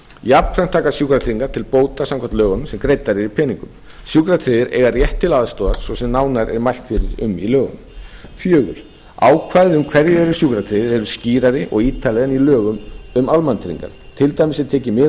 jafnframt taka sjúkratryggingar til bóta samkvæmt lögunum sem greiddar eru í peningum sjúkratryggðir eiga rétt til aðstoðar svo sem nánar er mælt fyrir um í lögunum fjórða ákvæði um hverjir eru sjúkratryggðir eru skýrari og ítarlegri en í lögum um almannatryggingar til dæmis er tekið mið af ákvæðum e